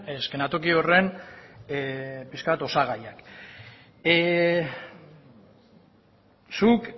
eszenatoki horren pixka bat osagaiak